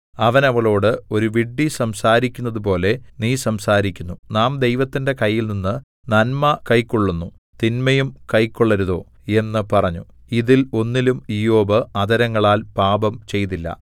അവൻ അവളോട് ഒരു വിഡ്ഢി സംസാരിക്കുന്നതുപോലെ നീ സംസാരിക്കുന്നു നാം ദൈവത്തിന്റെ കയ്യിൽനിന്ന് നന്മ കൈക്കൊള്ളുന്നു തിന്മയും കൈക്കൊള്ളരുതോ എന്ന് പറഞ്ഞു ഇതിൽ ഒന്നിലും ഇയ്യോബ് അധരങ്ങളാൽ പാപം ചെയ്തില്ല